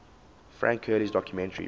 frank hurley's documentary